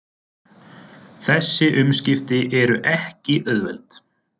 Þessi umskipti eru ekki auðveld